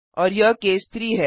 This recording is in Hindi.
और यह केस 3 है